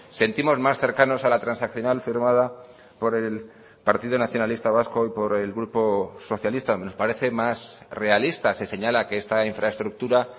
sentimos más cercanos a la transaccional firmada por el partido nacionalista vasco y por el grupo socialista nos parece más realista se señala que esta infraestructura